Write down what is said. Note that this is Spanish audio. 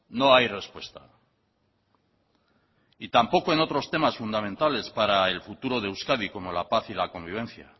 no hay respuesta y tampoco en otros temas fundamentales para el futuro de euskadi como la paz y la convivencia